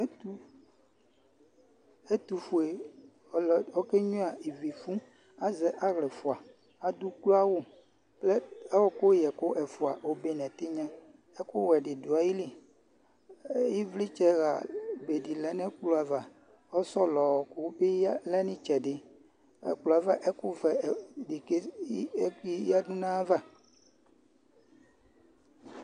Ɛtʋƒue ɔlʋ ɔƙenƴuǝ iviƒu Azɛ aɣlaɛƒʋaAɖʋ uƙloawʋ, ɔɔƙʋ ƴɛƙʋ ɛƒʋa obe nʋ ɛtɩnƴa ,ɛƙʋ wɛ ɖɩ ɖʋ aƴiliƖvlɩtsɛ ɣa be ɖɩ lɛ nʋ ɛƙplɔ avaƆsɔlɔ ɔɔƙʋ bɩ lɛ n'ɩtsɛɖɩ, ɛƙʋ vɛ ɖɩ bɩ ƴǝɖʋ n'ayava